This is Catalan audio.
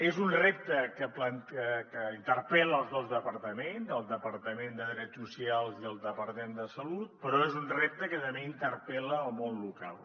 és un repte que interpel·la els dos departaments el departament de drets socials i el departament de salut però és un repte que també interpel·la el món local